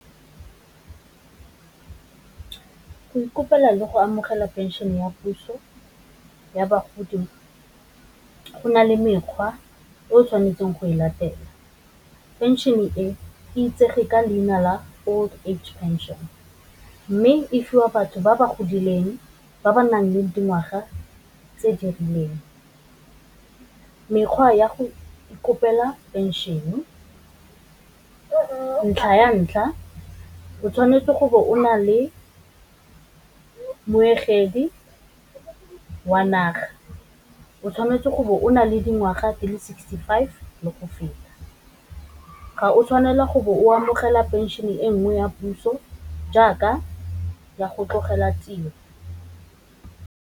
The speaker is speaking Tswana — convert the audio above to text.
Go ikopela le go amogela phenšene ya puso ya bogodi go na le mekgwa o tshwanetseng go e latela. Phenšene e itsege ka leina la old age pension, mme e fiwa batho ba ba godileng ba ba nang le dingwaga tse di rileng. Mekgwa ya go kopela phenšene, ntlha ya ntlha, o tshwanetse go bo o na le meogedi wa naga, o tshwanetse go bo o na le dingwaga di le sixty-five le go feta, ga o tshwanela gore o amogela phenšene e nngwe ya puso jaaka ya go tlogela tiro.